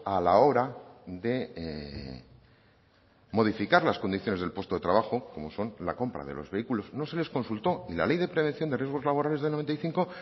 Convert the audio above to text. a la hora de modificar las condiciones del puesto de trabajo como son la compra de los vehículos no se les consultó y la ley de prevención de riesgos laborales del noventa y cinco